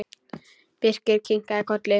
Birkir kinkaði kolli.